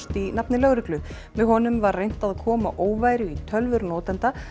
í nafni lögreglu með honum var reynt að koma óværu í tölvur notenda